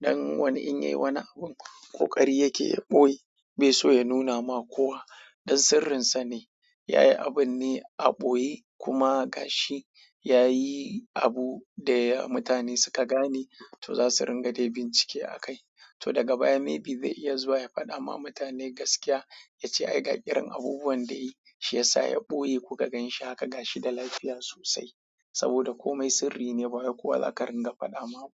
Dan wani in yayi wani abin ƙoƙari yake ɓoye bai so ya nuna ma kowa. Dan sirrinsa ne. Yayi abun ne a ɓoye kuma ga shi yayi abu da mutane suka gane to za su ringa da bincike a kai. To daga baya maybe zai iya zuwa ya faɗa ma mutane gaskiya yace ai ga irin abubuwan da yayi. Shi yasa ya ɓoye kuka gan shi haka ga shi da lafiya sosai. Saboda komai sirri ne ba wai kowa za ka ringa faɗawa ba.